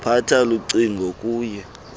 phatsha lucingo oluye